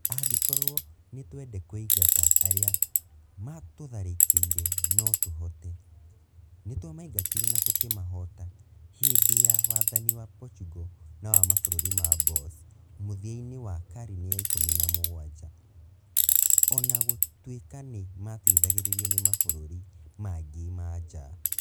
Angĩkorũo nĩ twende kũingata arĩa maatũtharĩkĩire no tũhote, nĩ twamaingatire na tũkĩmahoota hĩndĩ ya wathani wa Portugal na wa mabũrũri ma Boers mũthia-inĩ wa karine ya ikumi na mugwanja, o na gũtuĩka nĩ maateithagĩrĩrio nĩ mabũrũri mangĩ manja.